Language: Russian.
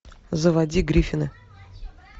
заводи гриффины